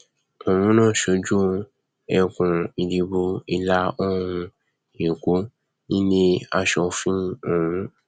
òun ló ń ṣojú ẹkùnìdìbò ìlàoòrùn èkó nílé aṣòfin ọhún